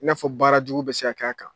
I n'a fɔ baara jugu bɛ se k'a kan